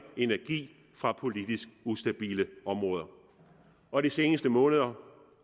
energi fra politisk ustabile områder og de seneste måneder